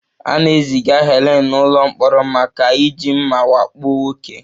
A na-eziga Helen n'ụlọ mkpọrọ maka iji mma wakpo nwoke